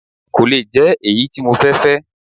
Kò le jẹ́ èyí tí mo fẹ́ fẹ́